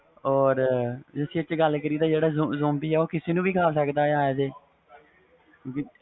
or ਜੇ ਗੱਲ ਕਰੀਏ ਜਿਹੜਾ zombi ਵ ਉਹ ਕਿਸੇ ਨੂੰ ਵੀ ਖਾ ਸਕਦਾ ਵ as a